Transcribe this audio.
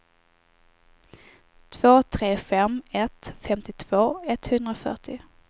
två tre fem ett femtiotvå etthundrafyrtio